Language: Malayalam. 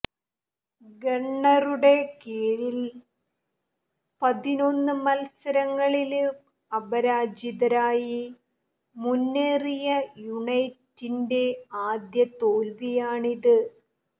ഗണ്ണറുടെ കീഴില് പതിനൊന്ന് മത്സരങ്ങളില് അപരാജിതരായി മുന്നേറിയ യുണൈറ്റിന്റെ ആദ്യ തോല്വിയാണിത്